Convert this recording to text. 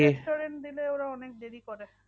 Restaurant দিলে ওরা অনেক দেরি করে।